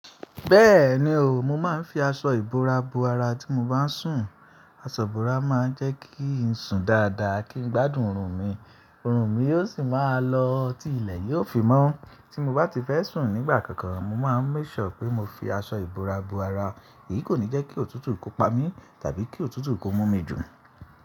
Bẹ́ẹ̀ni o, mo máa ń fi aṣọ ìbora bo ara tí mo bá ń sùn. Aṣọ ìbora máa ń jẹ́ kí ń sùn dáadáa kí n gbádùn ọrùn mi, ọrùn mi yóò sì máa lọ tí ilẹ̀ yóò fi mọ́. Tí mo bá ti fẹ́ sùn nígbà kankan, mo máa ń make sure pé mo fi aṣọ ìbora bo ara. Èyí kò ní jẹ́ kí òtútù ki o pa mí tàbí kí òtútù kí o mú mi jù.